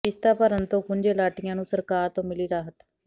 ਕਿਸ਼ਤਾਂ ਭਰਨ ਤੋਂ ਖੁੰਝੇ ਅਲਾਟੀਆਂ ਨੂੰ ਸਰਕਾਰ ਤੋਂ ਮਿਲੀ ਰਾਹਤ